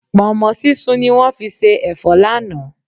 Pọ̀nmọ́ sísun ni wọ́n fi se ẹ̀fọ́ lánàá.